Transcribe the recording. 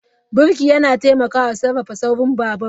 Birki yana taimakawa sarrafa saurin babur.